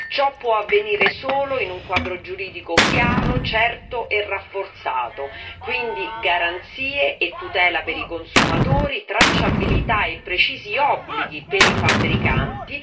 Ciò può avvenire solo in un quadro giuridico chiaro, certo e rafforzato, quindi garanzie e tutela per i consumatori, tracciabilità e precisi obblighi per i fabbricanti.